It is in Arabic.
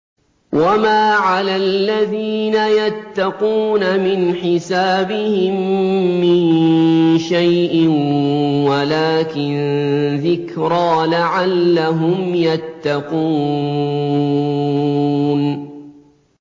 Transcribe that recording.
وَمَا عَلَى الَّذِينَ يَتَّقُونَ مِنْ حِسَابِهِم مِّن شَيْءٍ وَلَٰكِن ذِكْرَىٰ لَعَلَّهُمْ يَتَّقُونَ